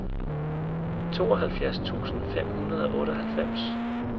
tooghalvfjerds tusind fem hundrede og otteoghalvfems